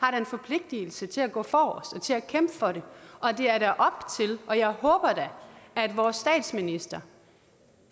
har en forpligtelse til at gå forrest og til at kæmpe for det og jeg håber da at vores statsminister